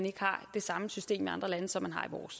ikke har det samme system i andre lande som